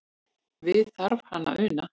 Við þarf hann að una.